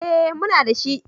Eh muna dashi.